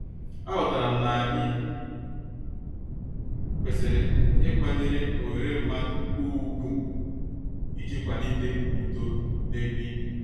A ghotaram na-anyi kwesịrị ịkwanyere oghere mmadụ ugwu iji kwalite udo na-ebe ibi.